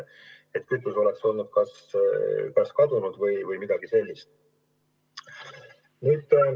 Et kütus oleks kas kadunud või midagi sellist.